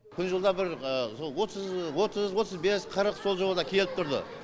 күн жылыда бір сол отыз отыз бес қырық сол жылы да келіп тұрды